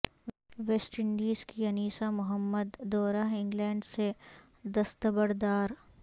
waste Indies کی انیسہ محمد دورہ England سے دستبردار